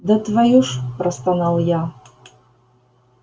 да твою ж простонал я